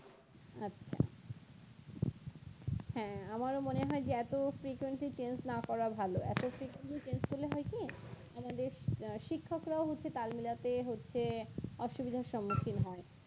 হ্যাঁ আমারও মনে হয় যে এত frequency tense না করা ভালো এখন frequency tense করলে হয় কি আমাদের শিক্ষকরা হচ্ছে তাল মিলাতে হচ্ছে অসুবিধার সম্মুখীন হয়